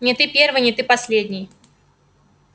не ты первый не ты последний